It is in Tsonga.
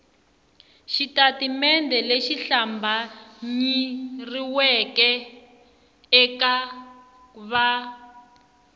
xitatimende lexi hlambanyeriweke eka va